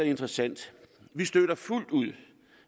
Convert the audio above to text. interessant vi støtter fuldt ud